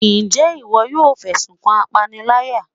njẹ iwọ yọọ fesún kan apáníláyá?